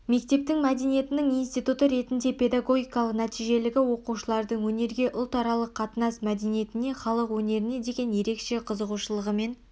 мектептің мәдениетінің институты ретіндегі педагогикалық нәтижелігі оқушылардың өнерге ұлтаралық қатынас мәдениетіне халық өнеріне деген ерекше қызығушылығымен